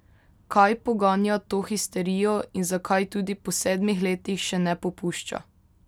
Kaj poganja to histerijo in zakaj tudi po sedmih letih še ne popušča?